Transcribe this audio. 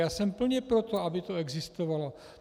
Já jsem plně pro to, aby to existovalo.